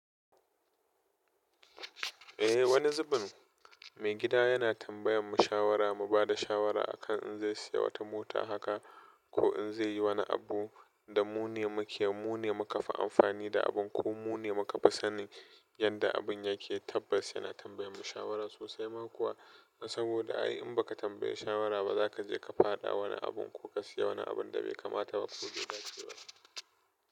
Eh wani zubin maigida yana tambayan mu shawara, mu bada shawara akan in zai siya wata mota haka ko in zai yi wani abu da mu ne muke, mu ne muka fi amfani da abun ko mu ne muka fi sani yanda abun yake. Tabbas yana tambayan mu shawara sosai ma kuwa saboda ai in baka tambaye shawara ba zaka je ka fada wani abun ko ka siya wani abun da bai kamata ba ko bai dace ba.